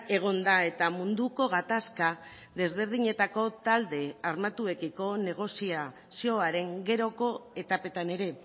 egon da eta munduko gatazka desberdinetako talde armatuekiko negoziazioaren geroko etapetan ere